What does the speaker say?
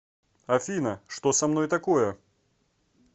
афина что со мной такое